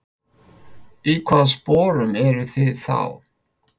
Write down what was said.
Í hvaða sporum eruð þið þá?